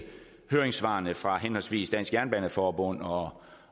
høringssvarene fra henholdsvis dansk jernbaneforbund og